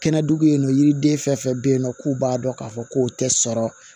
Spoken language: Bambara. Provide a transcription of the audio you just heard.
Kɛnɛ dugu bɛ yen nɔ yiriden fɛn fɛn bɛ yen nɔ k'u b'a dɔn k'a fɔ k'o tɛ sɔrɔ